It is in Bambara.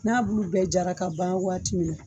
N'a bulu bɛɛ jara ka ban waati min na